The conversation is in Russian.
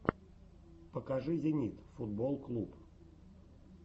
покажи зенит футболл клуб